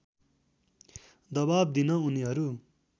दबाब दिन उनीहरू